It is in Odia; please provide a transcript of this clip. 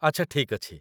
ଆଚ୍ଛା, ଠିକ୍ ଅଛି